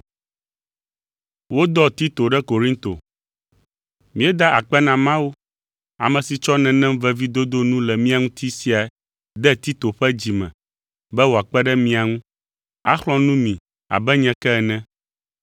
Míeda akpe na Mawu, ame si tsɔ nenem veviedodo nu le mia ŋuti sia de Tito ƒe dzi me be wòakpe ɖe mia ŋu, axlɔ̃ nu mi abe nye ke ene.